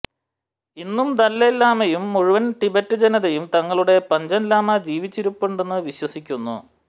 ഇന്നും ദലൈലാമയും മുഴുവന് ടിബറ്റന് ജനതയും തങ്ങളുടെ പഞ്ചന് ലാമ ജീവിച്ചിരിപ്പുണ്ടെന്ന് വിശ്വസിക്കുന്നു